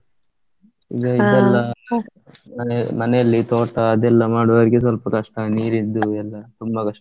ಎಲ್ಲಾ ಮನೆ ಮನೆಯಲ್ಲಿ ತೋಟ ಅದೆಲ್ಲಾ ಮಾಡುವವರಿಗೆ ಸ್ವಲ್ಪ ಕಷ್ಟ ನೀರಿದ್ದು ಎಲ್ಲಾ ತುಂಬಾ ಕಷ್ಟ.